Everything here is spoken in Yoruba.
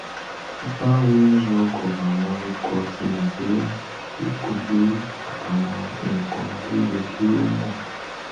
fifa womans world cup awọn ikọ tí nàìjíríà yóò kojú àtàwọn nǹkan tó yẹ kí ó mọ